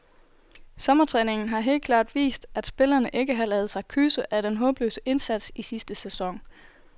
Sommertræningen har helt klart vist, at spillerne ikke har ladet sig kyse af den håbløse indsats i sidste sæson.